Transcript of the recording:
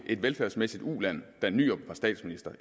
velfærdsmæssigt uland da nyrup var statsminister